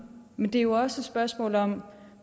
men det er jo også et spørgsmål om